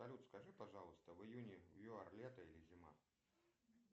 салют скажи пожалуйста в июне в юар лето или зима